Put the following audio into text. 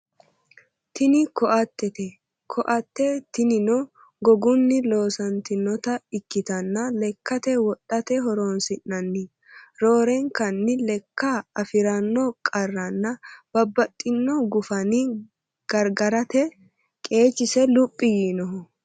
Tini koattete koatte tinino gogunni loosantinota ikkitanna lekkate wodhate horoonsi'nanni roorenkanni lekka afiranno qarranna babbaxino guffanni gargarate qeechisi luphi yiinoho.